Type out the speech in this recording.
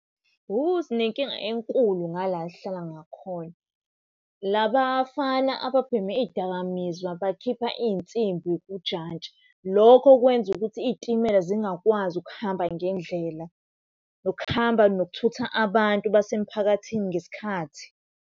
Sinenkinga enkulu ngala esihlala ngakhona. Laba bafana ababhema iy'dakamizwa bakhipha iy'nsimbi kujantshi. Lokho kwenza ukuthi iy'timela zingakwazi ukuhamba ngendlela, nokuhamba nokuthutha abantu basemphakathini ngesikhathi.